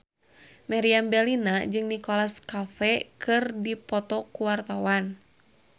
Meriam Bellina jeung Nicholas Cafe keur dipoto ku wartawan